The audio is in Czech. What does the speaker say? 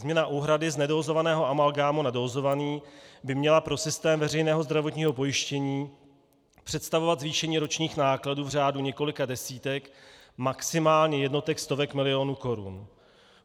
Změna úhrady z nedózovaného amalgámu na dózovaný by měla pro systém veřejného zdravotního pojištění představovat zvýšení ročních nákladů v řádu několika desítek, maximálně jednotek stovek milionů korun.